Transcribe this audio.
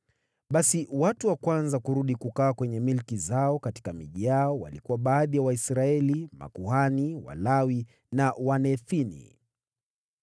Basi watu wa kwanza kurudi kukaa kwenye milki zao katika miji yao walikuwa baadhi ya Waisraeli, makuhani, Walawi na watumishi wa Hekalu.